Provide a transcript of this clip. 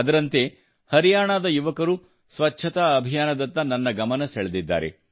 ಅದರಂತೆ ಹರಿಯಾಣದ ಯುವಕರು ಸ್ವಚ್ಛತಾ ಅಭಿಯಾನದತ್ತ ನನ್ನ ಗಮನ ಸೆಳೆದಿದ್ದಾರೆ